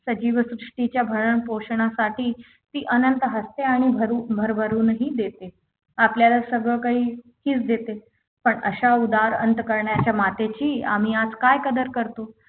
त्या जीवसृष्टीच्या भयान पोषणासाठी ती अनंत हसते आणि भर भरभरूनहि देते आपल्याला सगळं काही तीच देते पण अशा उदार अंतःकरणाच्या मातेची आम्ही आज काय कदर करतो